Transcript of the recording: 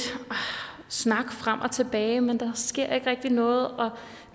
snak frem og tilbage men der sker ikke rigtig noget